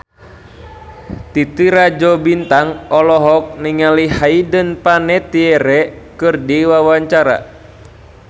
Titi Rajo Bintang olohok ningali Hayden Panettiere keur diwawancara